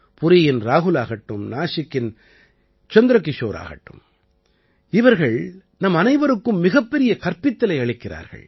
புரீயின் ராஹுலாகட்டும் நாசிக்கின் சந்திரகிஷோராகட்டும் இவர்கள் நம்மனைவருக்கும் மிகப்பெரிய கற்பித்தலை அளிக்கிறார்கள்